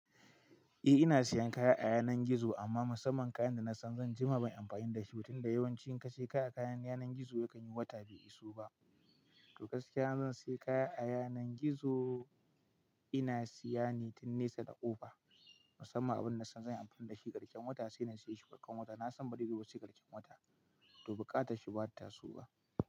Eh ina siyan kaya a yanar gizo amma musamman kayan da na san zan jima ba yi amfani da shi, tun da yawanci in ka siya kaya a yanar gizo yakan yi wata bai iso ba. To gaskiya in zan siya kaya a yanar gizo ina siya ne tun nesa da ƙofa musamman abun da zan yi amfani da shi ƙarshen wata sai na siya shi barkan wata. Na san bare zo ba sai ƙarshen wata to buƙata shi bata so ba.